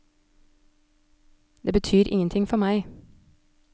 Det betyr ingen ting for meg.